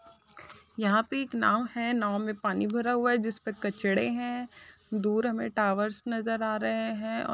यहाँ पे एक नाव है नाव में पानी भरा हुआ है जिसपे कचरा है दूर हमें टॉवर्स नजर आ रहें हैं और --